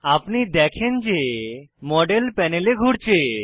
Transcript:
আপনি দেখেন যে মডেল প্যানেলে ঘুরছে